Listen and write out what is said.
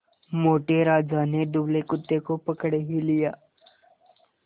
मोटे राजा ने दुबले कुत्ते को पकड़ ही लिया